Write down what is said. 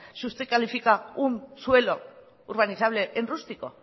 si usted califica un suelo urbanizable en rústico